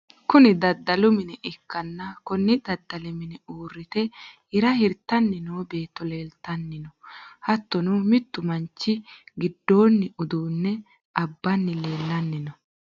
kuni daddalu mine ikkanna, konni daddali mine uurrite hira hirtanni noo beetto leeltanni no, hattono mittu manchi giddonni uduunne abbanni leelanni no.